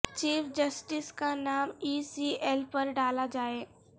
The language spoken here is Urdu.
چیف جسٹس کا نام ای سی ایل پر ڈالا جائے